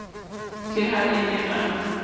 ke ha a ne a